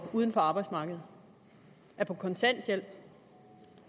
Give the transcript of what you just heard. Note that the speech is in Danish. uden for arbejdsmarkedet er på kontanthjælp